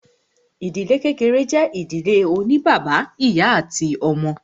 Ìdílé kékeré jẹ́ ìdílé oní bàbá, ìyá àti àwọn ọmọ.